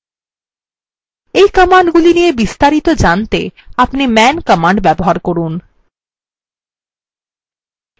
এই commandগুলি নিয়ে বিস্তারিত জানতে আপনি man command ব্যবহার করুন